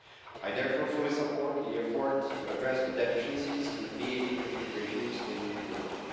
I therefore fully support the efforts to address the deficiencies in VAT regimes in Europe.